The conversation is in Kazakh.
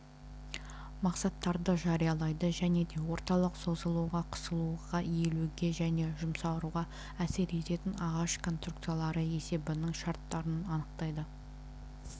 мақсаттарды жариялайды және де орталық созылуға қысылуға иілуге және жұмсаруға әсер ететін ағаш конструкциялары есебінің шарттарын анықтайды